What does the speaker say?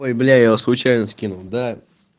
бляя случайно скинул да